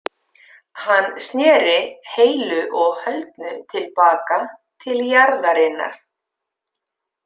Hann sneri heilu og höldnu til baka til jarðarinnar.